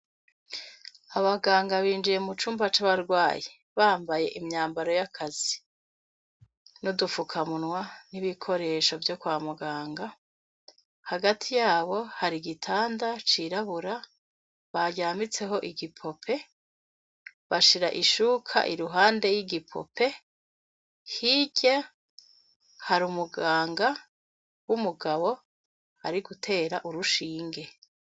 Abaganga binjiye mu cumba c'abarwaye bambaye imyambaro y'akazi no dufukamunwa n'ibikoresho vyo kwa muganga hagati yabo hari igitanda cirabura baryambitseho igipope bashira ishuka iruhande y'igipope e hirya hari umuganga w'umugabo ari gutera urushinge.